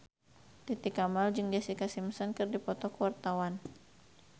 Titi Kamal jeung Jessica Simpson keur dipoto ku wartawan